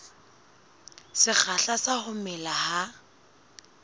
sekgahla sa ho mela ha